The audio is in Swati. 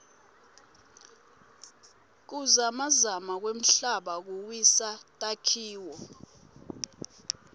kuzamazama kwemhlaba kuwisa takhiloo